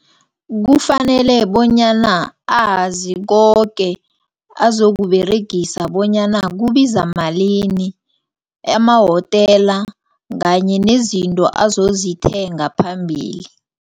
Kufanele bonyana azi koke azokuberegisa bonyana kubiza malini emahotela kanye nezinto azozithenga phambili.